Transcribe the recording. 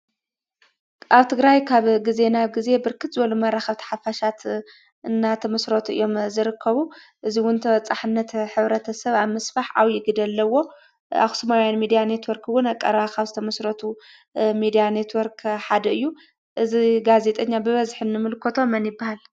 ኣብ ትግራይ ካብ ግዜ ናብ ግዜ ብርክት መራከብቲ ሓፋሻት እንዳተመስረቱ እዮም ዝርከቡ። እዙይ እዉን ተበጻሕነት ሕብረተሰብ ኣብ ምስፋሕ ዓብዪ ግደ ኣለዎም። ኣክሱማውያን ሞድያ ኔትወርክ እውን ኣብ ቀረባ ካብ ዝተመስረቱ ሚድያ ኔትወርክ ሓደ እዩ። እዚ ጋዜጠኛ እዚ ሽሙ መን ይበሃል?